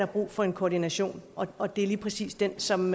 brug for en koordination og det er lige præcis den som